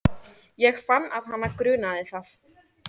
Ég fann að hana grunaði það.